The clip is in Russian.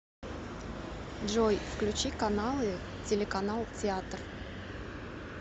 джой включи каналы телеканал театр